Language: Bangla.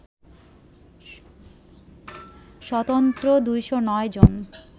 স্বতন্ত্র ২০৯ জন